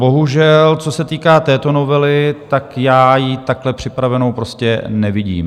Bohužel, co se týká této novely, tak já ji takhle připravenou prostě nevidím.